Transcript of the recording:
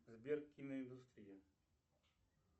сбер киноиндустрия